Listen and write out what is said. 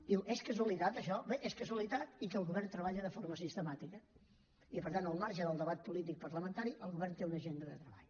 diu és casualitat això bé és casualitat i que el govern treballa de forma sistemàtica i per tant al marge del debat polític parlamentari el govern té una agenda de treball